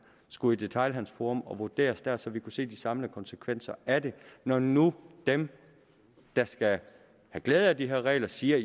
skulle i et detailhandelsforum og vurderes der så vi kunne se de samlede konsekvenser af det når nu dem der skal have glæde af de her regler siger